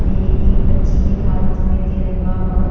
ये एक बच्ची के हाथ मे तिरंगा ह।